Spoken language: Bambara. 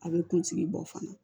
A bɛ kunsigi bɔ fana